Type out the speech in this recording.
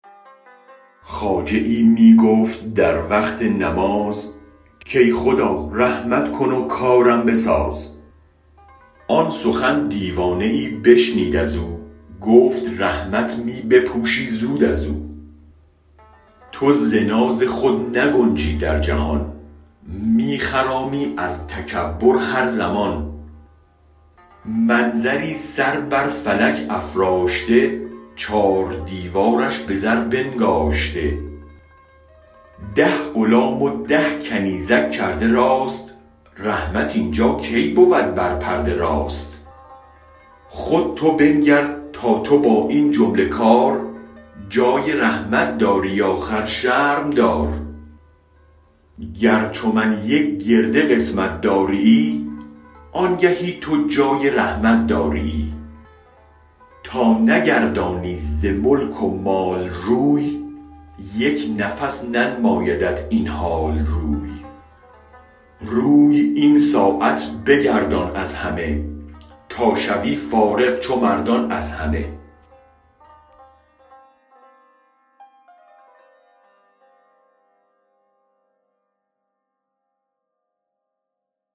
خواجه ای می گفت در وقت نماز کای خدا رحمت کن و کارم بساز آن سخن دیوانه ای بشنید ازو گفت رحمت می بپوشی زود ازو تو ز ناز خود نگنجی در جهان می خرامی از تکبر هر زمان منظری سر بر فلک افراشته چار دیوارش به زر بنگاشته ده غلام و ده کنیزک کرده راست رحمت اینجا کی بود بر پرده راست خود تو بنگر تا تو با این جمله کار جای رحمت داری آخر شرم دار گر چو من یک گرده قسمت داریی آنگهی تو جای رحمت داریی تا نگردانی ز ملک و مال روی یک نفس ننمایدت این حال روی روی این ساعت بگردان از همه تا شوی فارغ چو مردان از همه